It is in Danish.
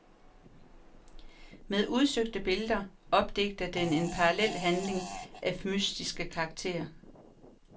Med udsøgte billeder opdigter den en parallelhandling af mystisk karakter.